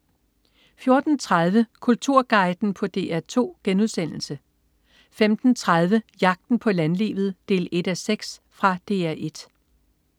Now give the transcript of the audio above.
14.30 Kulturguiden på DR2* 15.30 Jagten på landlivet 1:6. Fra DR 1